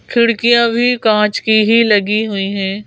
खिड़कियाँ भी कांच की ही लगी हुई है।